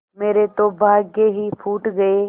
मेरे तो भाग्य ही फूट गये